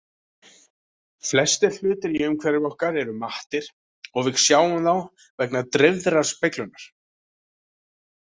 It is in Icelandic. Flestir hlutir í umhverfi okkar eru mattir og við sjáum þá vegna dreifðrar speglunar.